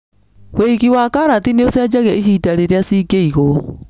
Wĩigi wa karati nĩ ũcenjagia ihinda rĩrĩa cingĩigwo.